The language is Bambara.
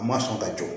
A ma sɔn ka jɔ